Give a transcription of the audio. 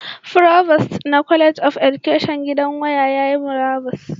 Provost na College of Education gidan waya yayi murabus